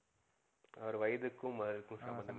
அவரு வயதுக்கும் அவருக்கும் ஹம் சம்பதமே